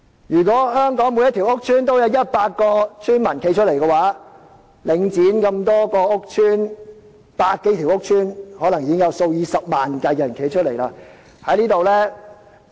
如果香港每個屋邨都有100名邨民站出來，集合領展轄下百多個屋邨，便可能有數以十萬計的居民站出來。